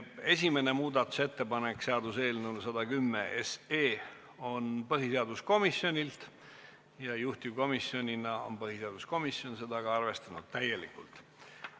Esimene muudatusettepanek seaduseelnõu 110 kohta on põhiseaduskomisjonilt ja juhtivkomisjonina on põhiseaduskomisjon seda arvestanud täielikult.